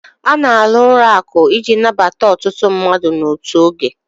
A na alụ ụlọ akụ iji nabata ọtụtụ mmadụ n'otu oge